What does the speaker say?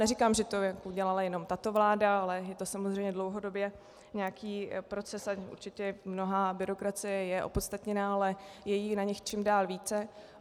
Neříkám, že to udělala jenom tato vláda, ale je to samozřejmě dlouhodobě nějaký proces a určitě mnohá byrokracie je opodstatněná, ale je jí na nich čím dál více.